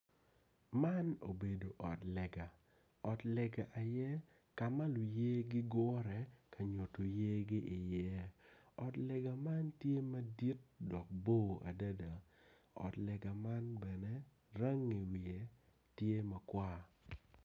Man obedo ot lega, ot lege aye kama luye gigure kanyuto yergi i ngea ot lega man tye madit dok bor adada ot lega man bene rangi nge tye makwar.